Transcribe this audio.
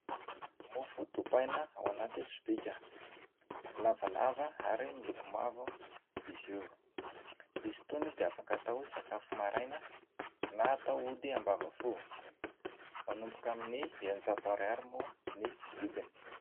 Mofo dipaina ao anaty sobika. Lavalava ary miloko mavo izy io. Izy itony dia afaka atao sakafo maraina na atao ody ambavafo. Manomboka amin'ny eninjato ariary moa ny vidiny.